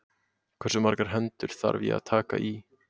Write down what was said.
Hversu margar hendur þarf ég að taka í?